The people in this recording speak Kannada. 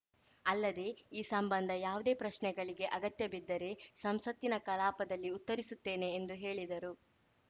ಅಲ್ಲದೆ ಈ ಸಂಬಂಧ ಯಾವುದೇ ಪ್ರಶ್ನೆಗಳಿಗೆ ಅಗತ್ಯಬಿದ್ದರೆ ಸಂಸತ್ತಿನ ಕಲಾಪದಲ್ಲಿ ಉತ್ತರಿಸುತ್ತೇನೆ ಎಂದು ಹೇಳಿದರು